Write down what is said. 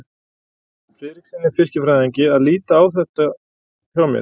Friðrikssyni fiskifræðingi að líta á þetta hjá mér.